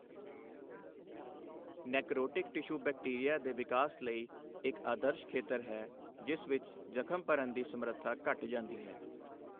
Necrotic tissue bacteria ਦੇ ਵਿਕਾਸ ਲਈ ਇੱਕ ਆਦਰਸ਼ ਖੇਤਰ ਹੈ, ਜਿਸ ਵਿੱਚ ਜ਼ਖ਼ਮ ਭਰਨ ਦੀ ਸਮਰੱਥਾ ਘਟ ਜਾਂਦੀ ਹੈ।